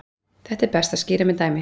Þetta er best að skýra með dæmi.